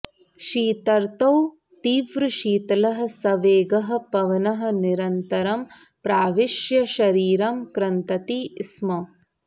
शीतर्तौ तीव्रः शीतलः सवेगः पवनः निरन्तरं प्राविश्य शरीरं कृन्तति स्म